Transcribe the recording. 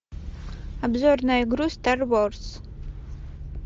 обзор на игру стар ворс